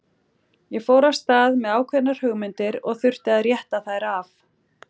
Ég fór af stað með ákveðnar hugmyndir og þurfti að rétta þær af.